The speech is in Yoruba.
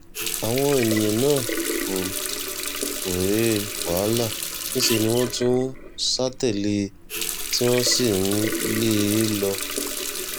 àwọn èèyàn náà kò kòòré wàhálà níṣẹ́ ni wọ́n tún sá tẹ̀lé e tí wọ́n sì ń lé e lọ